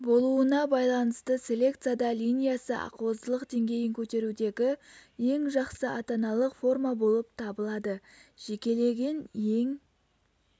болуына байланысты селекцияда линиясы ақуыздылық деңгейін көтерудегі ең жақсы ата-аналық форма болып табылады жекелеген ең